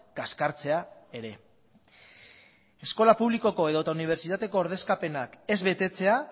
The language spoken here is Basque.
kaskartzea ere eskola publikoko edota unibertsitateko ordezkapenak ez betetzea